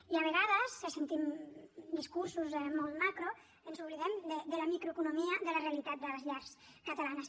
i a vegades que sentim discursos molt macro ens oblidem de la microeconomia de la realitat de les llars catalanes